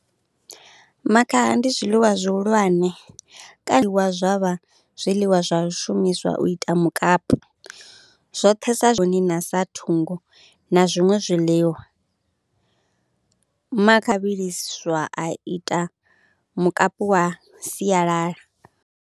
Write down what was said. Makhaha ndi zwiḽiwa zwihulwane kaliwa zwa vha zwiḽiwa zwa shumiswa u ita mukapu, zwoṱhe sa zwone na sa thungo na zwiṅwe zwiḽiwa, makha vhiliswa a ita mukapu wa sialala.